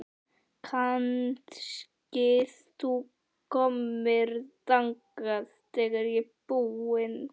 Kannski þú komir þangað þegar ég er búin?